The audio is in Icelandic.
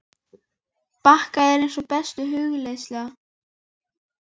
Munu ósánir akrar vaxa, böls mun alls batna